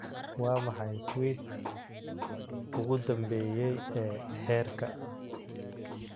Waa maxay tweets ugu dambeeyay ee heerka?